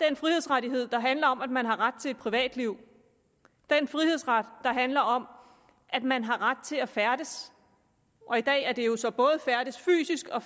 den frihedsrettighed der handler om at man har ret til et privatliv den frihedsrettighed handler om at man har ret til at færdes og i dag er det jo så både fysisk og